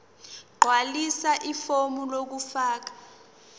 gqwalisa ifomu lokufaka